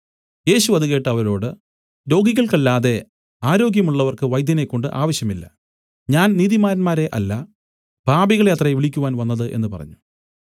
യേശു അത് കേട്ട് അവരോട് രോഗികൾക്കല്ലാതെ ആരോഗ്യമുള്ളവർക്ക് വൈദ്യനെക്കൊണ്ട് ആവശ്യമില്ല ഞാൻ നീതിമാന്മാരെ അല്ല പാപികളെ അത്രേ വിളിക്കുവാൻ വന്നത് എന്നു പറഞ്ഞു